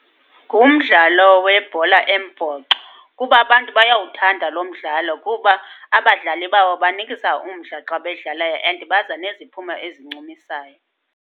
Ngumdlalo webhola embhoxo, kuba bantu bayawuthanda lo mdlalo kuba abadlali bawo banikisa umdla xa bedlalayo and baza neziphumo ezincumisayo.